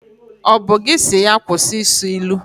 Ọ bụ gị si ya kwụsị ị sụ ilu?